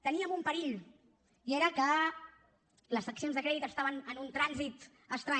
teníem un perill i era que les seccions de crèdit estaven en un trànsit estrany